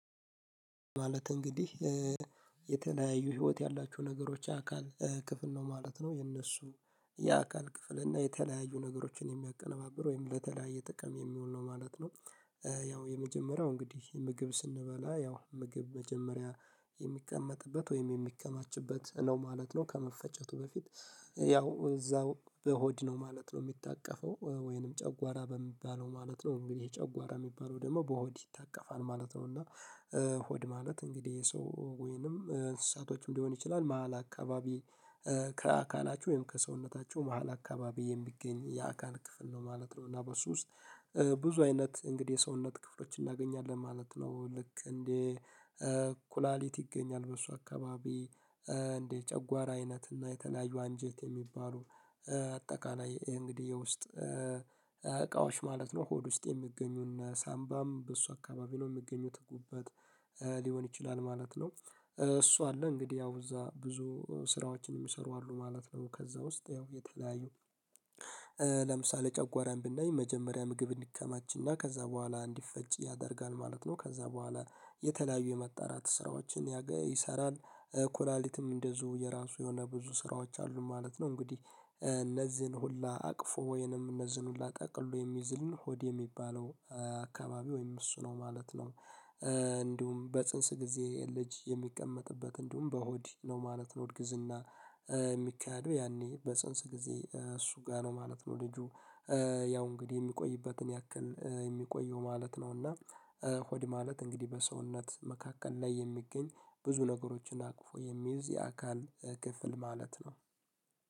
ማለት እንግዲህ የተለያዩ ህይወት ያላቸው ነገሮች አካል ክፍል ነው ማለት ነው። እነሱ የአካል ክፍል እና የተለያዩ ነገሮችን የሚያቀነባብር ወይም ለተለያየ ጥቅም የሚውል ነው ማለት ነው። ያው የመጀመሪያው እንግዲህ ምግብ ስንበላ ያው ምግብ መጀመሪያ የሚቀመጥበት ወይም የሚከማችበት ነው ማለት ነው ከመፈጨቱ በፊት። ያው እዛው በሆድ ነው ማለት ነው የሚታቀፈው ወይንም ጨጓራ በሚባለው ማለት ነው። እንግዲህ ጨጓራ የሚባለው ደግሞ በሆድ ይታቀፋል ማለት ነው፤ እና ሆድ ማለት እንግዲህ የሰው ወይንም እንስሳቶችም ሊሆን ይችላል መሃል አካባቢ ከአካላቸው ወይም ከሰውነታቸው መሃል አካባቢ የሚገኝ የአካል ክፍል ነው ማለት ነው፤ እና በሱ ውስጥ ብዙ አይነት እንግዲህ የሰውነት ክፍሎች እናገኛለን ማለት ነው ልክ እንደ ኩላሊት ይገኛል በሱ አካባቢ፣ እንደ ጨጓራ አይነት እና የተለያዩ አንጀት የሚባሉ አጠቃላይ እንግዲህ የውስጥ እቃዎች ማለት ነው ሆድ ውስጥ የሚገኙ እነ ሳምባም በሱ አካባቢ ነው የሚገኙት ጉበት ሊሆን ይችላል ማለት ነው። እሱ አለ እንግዲህ ያው እዛ ብዙ ስራዎችን የሚሰሩ አሉ ማለት ነው ከዛ ውስጥ ያው የተለያዩ ለምሳሌ ጨጓራን ብናይ መጀመሪያ ምግብ እንዲከማችና ከዛ በኋላ እንዲፈጭ ያደርጋል ማለት ነው። ከዛ በኋላ የተለያዩ የማጣራት ስራዎችን ያገ ይሰራል። ኩላሊትም እንደዚሁ የራሱ የሆነ ብዙ ስራዎች አሉ ማለት ነው። እንግዲህ እነዚህን ሁላ አቅፎ ወይንም እነዚህን ሁላ ጠቅልሎ የሚዝልን ሆድ የሚባለው አካባቢ ወይም እሱ ነው ማለት ነው። እንዲሁም በፅንስ ጊዜ ልጅ የሚቀመጥበት እንዲሁም በሆድ ነው ማለት ነው። እርግዝና የሚካሄደው ያኔ በፅንስ ጊዜ እሱ ጋር ነው ማለት ነው ልጁ ያው እንግዲህ የሚቆይበትን ያክል የሚቆየው ማለት ነው፤ እና ሆድ ማለት እንግዲህ በሰውነት መካከል ላይ የሚገኝ ብዙ ነገሮችን አቅፎ የሚይዝ የአካል ክፍል ማለት ነው።